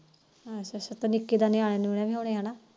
ਅੱਛਾ ਅੱਛਾ ਨਿਕੇ ਦੇ ਨਿਆਣੇ ਵੀ ਹੋਣੇ ਹਨਾ?